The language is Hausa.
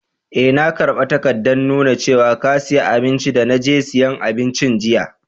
Eh, na karba takadan nuna cewa ka siya abinci de na je siyan abincin jiya.